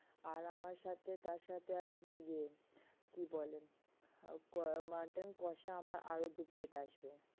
আর, আমার সাথে তার সাথে আসবে ইয়ে কি বলে mutton কষা আমার আরও দু plate আসবে।